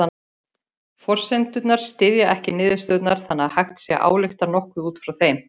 Forsendurnar styðja ekki niðurstöðurnar þannig að hægt sé að álykta nokkuð út frá þeim.